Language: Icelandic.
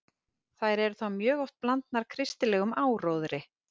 Þær eru þá mjög oft blandnar kristilegum áróðri.